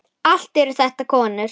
Allt eru þetta konur.